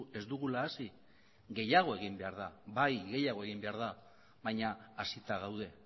ez dugula hasi gehiago egin behar da bai gehiago egin behar da baina hasita gaude